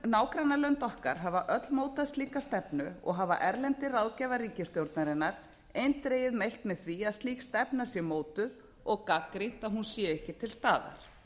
nágrannalönd okkar hafa öll mótað slíka stefnu og hafa erlendir ráðgjafar ríkisstjórnarinnar eindregið mælt með því að slík stefna sé mótuð og gagnrýnt að hún sé ekki til staðar